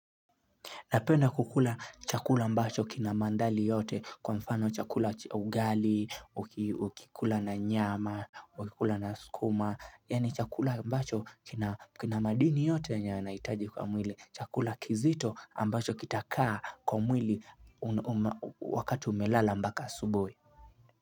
Napenda kukula chakula ambacho kina mandali yote kwa mfano chakula ugali, ukikula na nyama, ukikula na skuma. Yaani chakula ambacho kina madini yote yanahitaji kwa mwili. Chakula kizito ambacho kitakaa kwa mwili wakati umelala mpaka asubuhi.